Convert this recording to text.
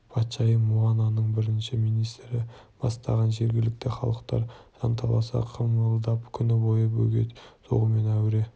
патшайым муананың бірінші министрі бастаған жергілікті халықтар жанталаса қимылдап күні бойы бөгет соғумен әуре